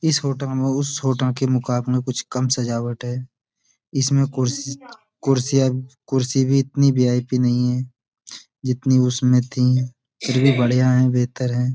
इस होटल में उस होटल के मुकाबले कुछ काम सजावट है। इसमें कुर्स कुर्सियाँ कुर्सी भी इतनी वी.आई.पी. नहीं है जितनी उसमें थीं फिर भी बढ़िया है बेहतर है।